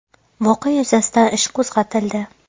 Voqea yuzasidan ish qo‘zg‘atildi.